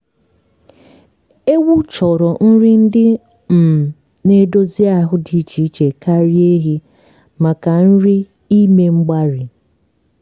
ewu chọrọ nri ndị um na-edozi ahụ dị iche iche karịa ehi maka nri ime mgbari